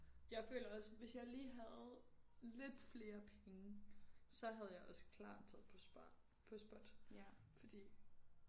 Jeg føler også hvis jeg lige havde lidt flere penge så havde jeg også klart taget på spar på SPOT fordi